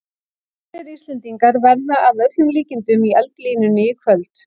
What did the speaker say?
Aðrir Íslendingar verða að öllum líkindum í eldlínunni í kvöld.